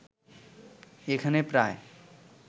এখানে প্রায়